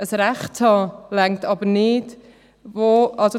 Ein Recht zu haben, reicht nicht aus.